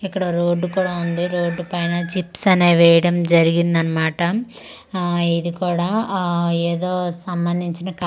ఇక్కడ రోడ్డు కూడా ఉంది రోడ్డు పైన చిప్స్ అనే వేయడం జరిగిందన్మాట ఆ ఇది కూడా ఆ ఏదో సంబంధించిన క--